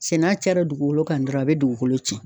Cɛ n'a cayara dugukolo kan dɔrɔn a bɛ dugukolo tiɲɛn.